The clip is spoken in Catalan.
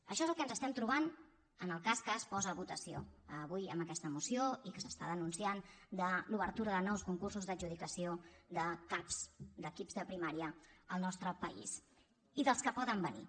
això és el que ens estem trobant en el cas que es posa a votació avui amb aquesta moció i que s’està denunciant de l’obertura de nous concursos d’adjudicació de cap d’equips de primària en el nostre país i dels que poden venir